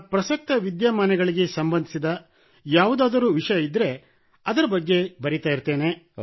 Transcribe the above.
ಪ್ರಸಕ್ತ ವಿದ್ಯಮಾನಗಳಿಗೆ ಸಂಬಂಧಿಸಿದ ಯಾವುದಾದರೂ ವಿಷಯವಿದ್ದರೆ ಅದರ ಬಗ್ಗೆ ಬರೆಯುತ್ತಿರುತ್ತೇನೆ